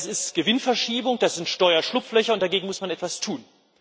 Das ist Gewinnverschiebung, das sind Steuerschlupflöcher, und dagegen muss man etwas tun.